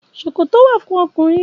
Ṣòkòtò wà fún ọkùnrin.